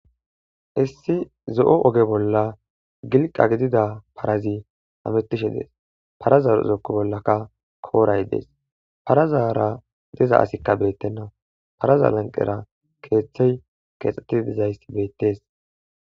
Issi zo'o oge bolla gilqa gidida parazi amuttishe dees paraza zookku bollaka kooray dees parazara diza asikka beettenna paraza lanqera keeththey keexxetti dizaysi beettees.